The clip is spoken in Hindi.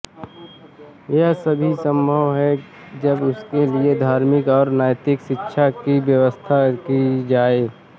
यह तभी सम्भव है जब उसके लिए धार्मिक और नैतिक शिक्षा की व्यवस्था की जाये